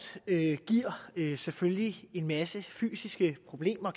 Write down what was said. selvfølgelig kan give en masse fysiske problemer